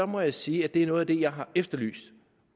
må jeg sige at det er noget af det jeg har efterlyst